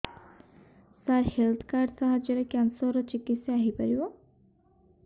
ସାର health card ସାହାଯ୍ୟରେ cancer ର ଚିକିତ୍ସା ହେଇପାରିବ